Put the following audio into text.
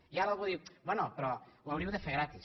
i ara algú diu bé però ho hauríeu de fer gratis